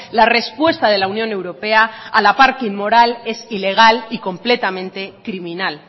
la respuesta de la unión europea a la par que inmoral es ilegal y completamente criminal